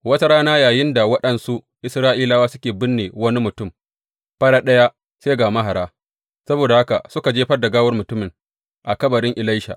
Wata rana yayinda waɗansu Isra’ilawa suke binne wani mutum, farat ɗaya sai ga mahara; saboda haka suka jefar da gawar mutumin a kabarin Elisha.